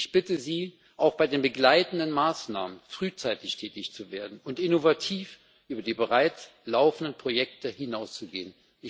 Ich bitte Sie, auch bei den begleitenden Maßnahmen frühzeitig tätig zu werden und innovativ über die bereits laufenden Projekte hinaus zu gehen.